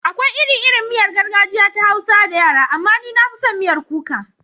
Akwai iri-irin miyar gargajiya ta Hausa da yara, amma ni na fi son miyar kuka.